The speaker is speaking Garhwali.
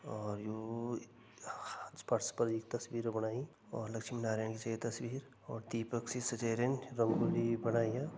और यु ह फर्श पर एक तस्वीर बणाईं और लक्ष्मी नारायण की छ यह तस्वीर और दीपक सी सजाई रहदीं रंगोली बणाईं या।